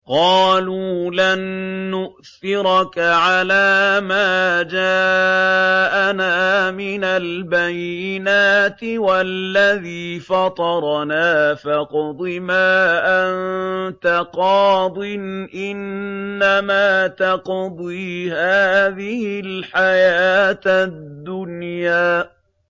قَالُوا لَن نُّؤْثِرَكَ عَلَىٰ مَا جَاءَنَا مِنَ الْبَيِّنَاتِ وَالَّذِي فَطَرَنَا ۖ فَاقْضِ مَا أَنتَ قَاضٍ ۖ إِنَّمَا تَقْضِي هَٰذِهِ الْحَيَاةَ الدُّنْيَا